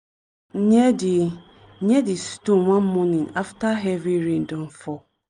near di near di stone one morning after heavy rain don fall.